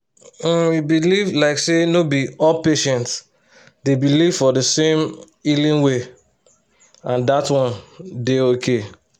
um e be like say no be all patients dey believe for di same healing way and dat one dey okay.